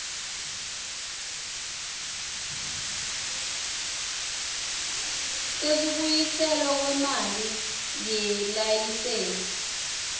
sekubuyiselwa kwemali yelayisensi